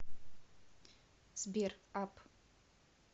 сбер ап